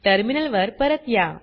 टर्मिनलवर परत या